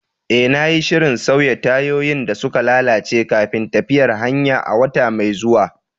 Eh, na yi shirin sauya tayoyin da suka lalace kafin tafiyar hanya a wata mai zuwa.